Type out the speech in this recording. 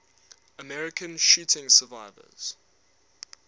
american shooting survivors